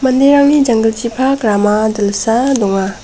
manderangni janggilchipak rama dilsa donga.